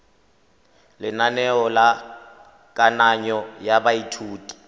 lenaneo la kananyo ya baithuti